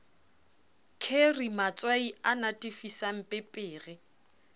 kheri matswai a natefisang pepere